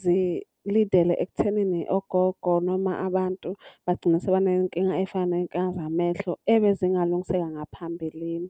zi-lead-ele ekuthenini ogogo noma abantu bagcine sebeney'nkinga ey'fana ney'nkinga zamehlo ebezingalungiseka ngaphambilini.